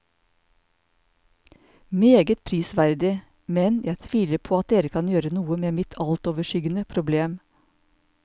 Meget prisverdig, men jeg tviler på at dere kan gjøre noe med mitt altoverskyggende problem.